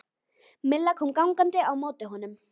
Milla kom gangandi á móti honum.